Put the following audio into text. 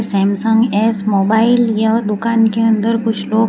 Samsung S mobile यह दुकान के अंदर कुछ लोग --